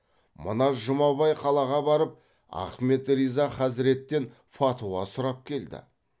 мына жұмабай қалаға барып ахмет риза хазіреттен фатуа сұрап келді